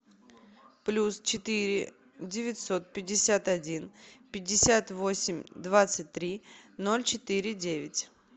плюс четыре девятьсот пятьдесят один пятьдесят восемь двадцать три ноль четыре девять